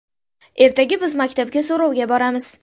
Ertaga biz maktabga so‘rovga boramiz.